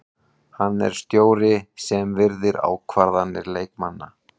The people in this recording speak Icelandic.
Hann er stjóri sem virðir ákvarðanir leikmanna.